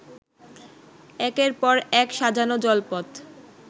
একের পর এক সাজানো জলপথ